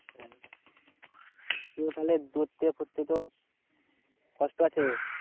হম তাহলে দৌড়োতে এ করতে তো কষ্ট আছে।